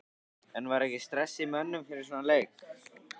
En var ekki stress í mönnum fyrir svona leik?